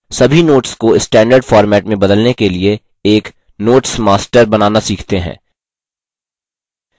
सभी notes को standard format में बदलने के लिए एक notes master बनाना सीखते हैं